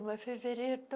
Não é fevereiro então?